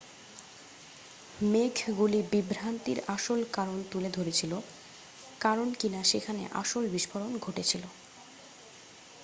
মেঘগুলি বিভ্রান্তির আসল কারণ তুলে ধরেছিল কারণ কিনা সেখানে আসল বিস্ফোরণ ঘটেছিল